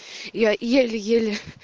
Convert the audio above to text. я еле-еле